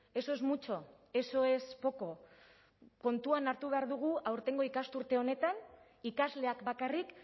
eso es mucho eso es poco kontuan hartu behar dugu aurtengo ikasturte honetan ikasleak bakarrik